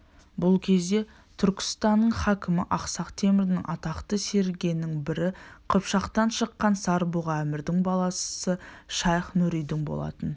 бұл кезде түркістанның хакімі ақсақ темірдің атақты серігінің бірі қыпшақтан шыққан сар-бұғы әмірдің баласы шайх-нұридин болатын